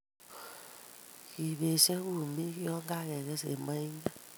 kibeesyo kumik yon kageges en moinget